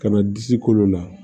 Ka na disi kolo la